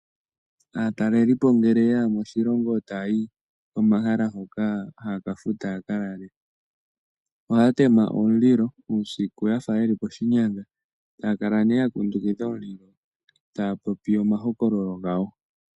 Aatalelipo ngele yaya moshilongo, etaayi pomahala ngoka haga futwa opo ya lalemo. Ohaa tema omulilo uusiku yafa yeli poshinyanga , etaa kala yegu kundukidha, taa popi omahokololo gawo.